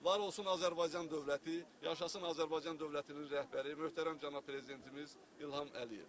Var olsun Azərbaycan dövləti, yaşasın Azərbaycan dövlətinin rəhbəri, möhtərəm cənab prezidentimiz İlham Əliyev.